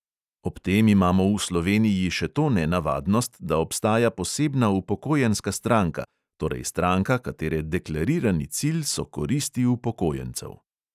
Ob tem imamo v sloveniji še to nenavadnost, da obstaja posebna upokojenska stranka, torej stranka, katere deklarirani cilj so koristi upokojencev.